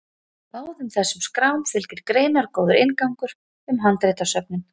báðum þessum skrám fylgir greinargóður inngangur um handritasöfnin